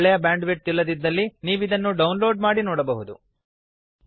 ಒಳ್ಳೆಯ bandwidth ಇಲ್ಲದಿದ್ದಲ್ಲಿ ನೀವು ಇದನ್ನು ಡೌನ್ ಲೋಡ್ ಮಾಡಿ ನೋಡಬಹುದು